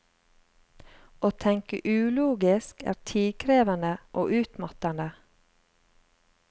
Å tenke ulogisk er tidkrevende og utmattende.